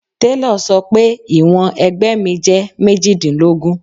Telọ̀ sọ pé ìwọ̀n ẹ̀gbẹ́ mi jẹ́ méjìdínlógún.